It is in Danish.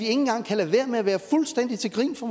engang kan lade være med at være fuldstændig til grin for